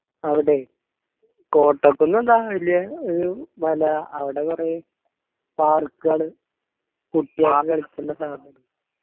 അവിടെ കോട്ടക്കുന്ന് എന്താ വെല്യ ഒരു മല അവടേ കൊറേ park കള് കുട്ടികൾക്ക് .